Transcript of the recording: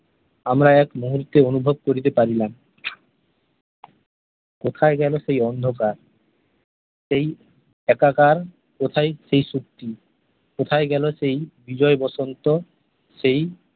আমরা এক মুহূর্তে অনুভব করিতে পারিলাম । কোথায় গেল সেই অন্ধকার সেই একাকার কোথায় সেই সত্যি কোথায় গেল সেই বিজয়বসন্ত সেই